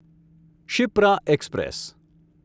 Shipra express